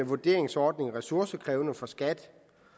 vurderingsordning ressourcekrævende for skat